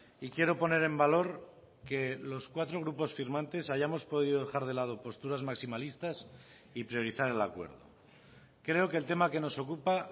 y quiero poner en valor que los cuatro grupos firmantes hayamos podido dejar de lado posturas maximalistas y priorizar el acuerdo creo que el tema que nos ocupa